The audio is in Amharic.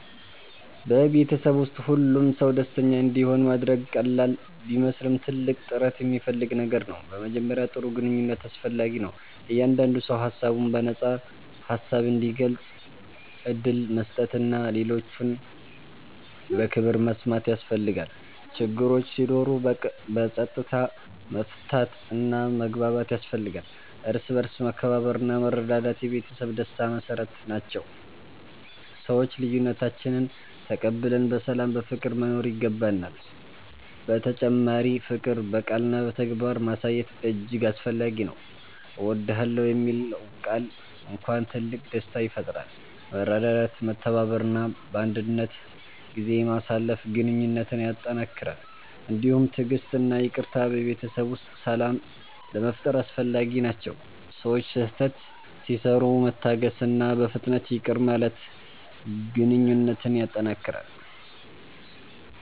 በቤተሰብ ውስጥ ሁሉም ሰው ደስተኛ እንዲሆን ማድረግ ቀላል ቢመስልም ትልቅ ጥረት የሚፈልግ ነገር ነው። በመጀመሪያ ጥሩ ግንኙነት አስፈላጊ ነው፤ እያንዳንዱ ሰው ሀሳቡን በነፃ ሀሳብ እንዲገልጽ ዕድል መስጠት እና ሌሎችን በክብር መስማት ያስፈልጋል። ችግሮች ሲኖሩ በፀጥታ መፍታት እና መግባባት ያስፈልጋል፤ እርስ በርስ መከባበርና መረዳት የቤተሰብ ደስታ መሰረት ናቸው፤ ሰዎች ልዬነታችንን ተቀብለን በሰላም በፍቅር መኖር ይገባናል። በተጨማሪ ፍቅር በቃልና በተግባር ማሳየት እጅግ አስፈላጊ ነው። እወድዳለሁ የሚለው ቃል እንኳን ትልቅ ደስታ ይፈጥራል። መረዳዳት፤ መተባበር እና ባንድነት ጊዜ ማሳለፍ ግንኙነትን ያጠነክራል። እንዲሁም ትዕግሥት እና ይቅርታ በቤተሰብ ውስጥ ሰላም ለመፋጠር አስፈላጊ ናቸው፤ ሰዎች ስህተት ሲሰሩ መታገስእና በፍጥነት ይቅር ማለት ግንኘነት ያጠነክራል።